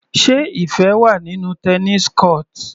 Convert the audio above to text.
Sé Ifẹ wà nínú tennis court?